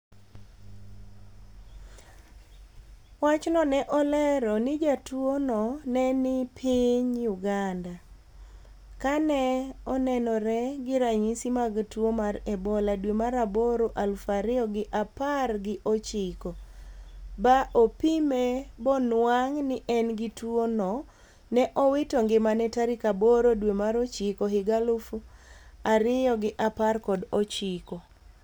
wachno ne olero ni jatuo no ne ni piny Uganda. ka ne onenore gi ranyisi mag tuo mar Ebola dwe mar aboro aluf ariyo g apar gi ochiko. ba opime bo nuang' ni en gi tuwo no. ne owito ngimane tarik aboro dwe mar ochiko higa aluf ariyo gi apar kod ochiko.